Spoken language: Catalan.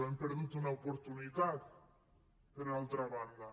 hem perdut una oportunitat per altra banda